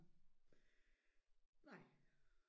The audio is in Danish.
Nej